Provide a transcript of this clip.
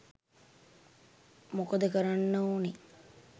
මොකද කරන්න ඔනේ.